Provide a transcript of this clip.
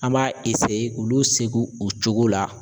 An b'a k'olu segi u cogo la